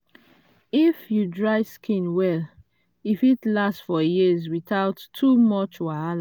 if you dry skin well e fit last for years without too much wahal